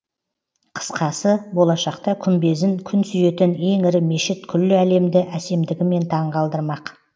қысқасы болашақта күмбезін күн сүйетін ең ірі мешіт күллі әлемді әсемдігімен таңғалдырмақ